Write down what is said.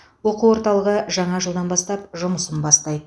оқу орталығы жаңа жылдан бастап жұмысын бастайды